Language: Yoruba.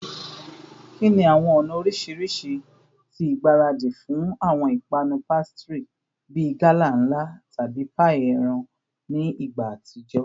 Kini awọn ọna oriṣiriṣi ti igbaradi fun awọn ipanu pastry bi gala nla tabi paii eran ni igba atijọ?